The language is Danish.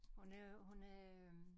Og nu hun er øh